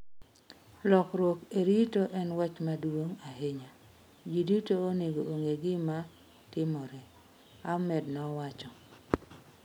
"Lokruok e rito en wach maduong' ahinya, ji duto onego ong'e gima timore", Ahmed nowacho.